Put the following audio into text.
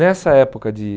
Nessa época de